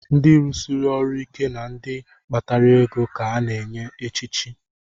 Ndị rusiri ọrụ ike na ndị kpatara ego ka a na-echi echichi